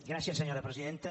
gràcies senyora presidenta